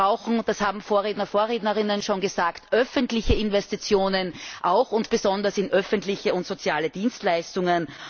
Wir brauchen und das haben Vorrednerinnen und Vorredner schon gesagt öffentliche Investitionen auch und besonders in öffentliche und soziale Dienstleistungen.